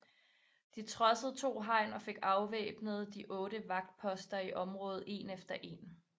De trodsede to hegn og fik afvæbnet de otte vagtposter i området en efter en